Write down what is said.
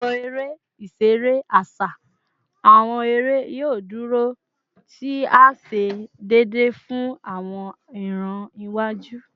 Awọn ere-iṣere aṣa / awọn ere yoo duro, ti a ṣe deede fun awọn iran iwaju